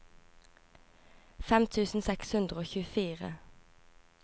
fem tusen seks hundre og tjuefire